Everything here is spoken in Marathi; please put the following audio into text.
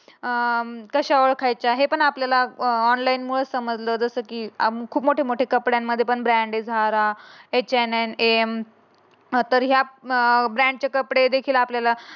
अं कशाला कायच आहे. ते पण आपल्याला ऑनलाइन मुळे समजल. जसं की आम्ही खूप मोठे मोठे कप मण्यानमध्ये पण खूप ब्रॅण्डेड झाल्या HAM तर यात अं आपल्या ब्रांचे कपडे देखील आपल्याला